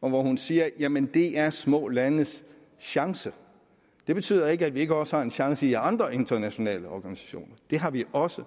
og hvor hun siger jamen det er små landes chance det betyder ikke at vi ikke også har en chance i andre internationale organisationer det har vi også